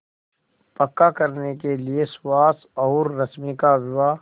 पक्का करने के लिए सुहास और रश्मि का विवाह